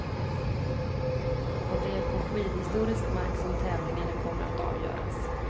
Och det är på skidhistorisk mark som tävlingarna kommer att avgöras.